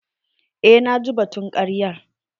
Eh naji batun karyar.